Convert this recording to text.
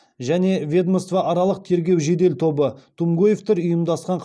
және ведомствоаралық тергеу жедел тобы тумгоевтер ұйымдасқан